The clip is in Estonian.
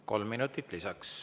Kolm minutit lisaks.